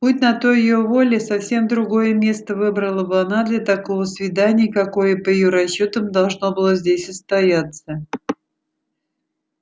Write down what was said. будь на то её воля совсем другое место выбрала бы она для такого свидания какое по её расчётам должно было здесь состояться